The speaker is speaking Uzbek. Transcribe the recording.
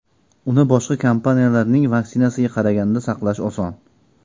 Uni boshqa kompaniyalarning vaksinasiga qaraganda saqlash oson.